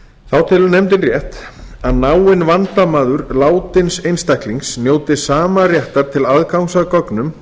nefndin telur rétt að náinn vandamaður látins einstaklings njóti sama réttar til aðgangs að gögnunum